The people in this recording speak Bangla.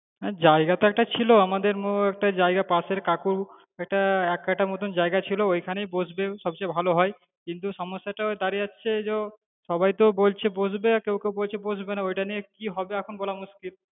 আহ জায়গা তো একটা ছিলো, আমাদের মোড় একটা ছিল জায়গা একটা পাশের কাকুর একটা এক কাটা মতো জায়গা ছিল, ওখানেই বসবে সবচেয়ে ভালো হয় কিন্তু সমস্যাটা ওই দাঁড়াচ্ছে যে ও সবাই তো বলছে বসবে, কেউ কেউ বলছে বসবেনা ওটা নিয়ে কি হবে এখন বলা মুশকিল।